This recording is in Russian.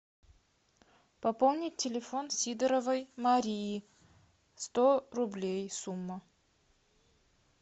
пополнить телефон сидоровой марии сто рублей сумма